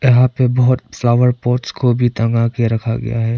यहां पे बहुत फ्लावर पॉट्स को भी तांगा के रखा गया है।